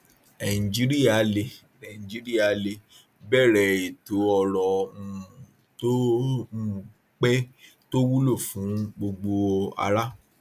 nàìjíríà lè nàìjíríà lè bẹrẹ ètò ọrọ um tó um pé tó wúlò fún gbogbo ará